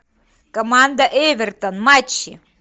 команда эвертон матчи